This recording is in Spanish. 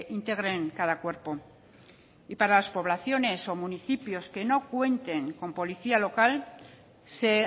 integren cada cuerpo para las poblaciones o municipios que no cuenten con policía local se